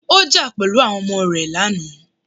Ó jà pẹ̀lú àwọn ọmọ rẹ lánàá.